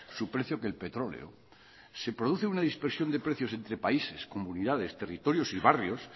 su precio que el petróleo se produce una dispersión de precios entre países comunidades territorios y barrios